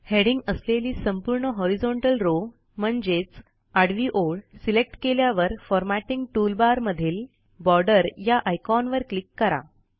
heading असलेली संपूर्ण horizontal row म्हणजेच आडवी ओळ सिलेक्ट केल्यावर फॉरमॅटिंग टूलबार मधील बॉर्डर या ऑयकॉनवर क्लिक करा